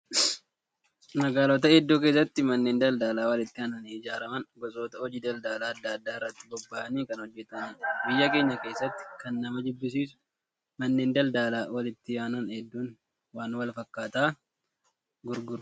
Magaalota hedduu keessatti manneen daldalaa walitti aananii ijaaraman gosoota hojii daldalaa adda addaa irratti bobba'anii kan hojjatanidha. Biyya keenya keessatti kan nama jibbisiisu manneen daldalaa walitti aanan hedduun waan wal fakkaataa gurguru.